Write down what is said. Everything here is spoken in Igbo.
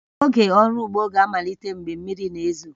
Oge ọrụ ugbo ga-amalite mgbe mmiri na-ezo